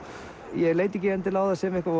ég leit ekki á það sem eitthvað